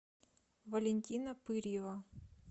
валентина пырьева